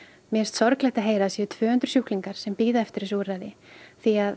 mér finnst sorglegt að heyra að það séu tvö hundruð sjúklingar sem bíða eftir þessu úrræði því að